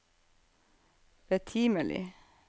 betimelig